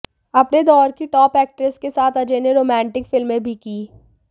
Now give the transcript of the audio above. अपने दौर की टॉप एक्ट्रेसेस के साथ अजय ने रोमांटिक फ़िल्में भी की